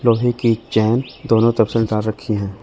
लोहे की चेन दोनों तरफ से डाल रखी हैं।